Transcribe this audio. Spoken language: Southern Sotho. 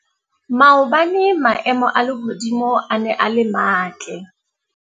Maobane maemo a lehodimo a ne a le matle.